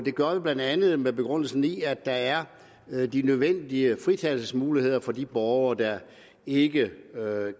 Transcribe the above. gør vi blandt andet med begrundelse i at der er de nødvendige fritagelsesmuligheder for de borgere der ikke